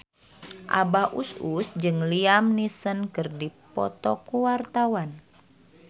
Abah Us Us jeung Liam Neeson keur dipoto ku wartawan